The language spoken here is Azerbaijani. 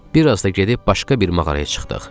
Bir az da gedib başqa bir mağaraya çıxdıq.